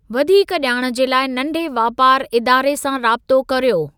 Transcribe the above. वधीक जा॒णु जे लाइ नंढे वापारु इदारे सां राबतो करियो।